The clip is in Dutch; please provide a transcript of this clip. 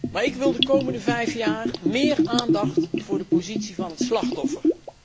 Maar ik wil de komende vijf jaar meer aandacht voor de positie van het slachtoffer.